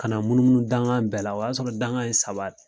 Kana munumunu dankan bɛɛ la o y'a sɔrɔ danga ye saba de ye